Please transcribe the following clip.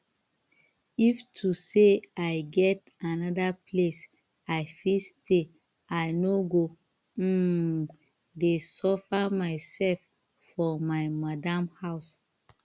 if to say i get another place i fit stay i no go um dey suffer myself for my madam house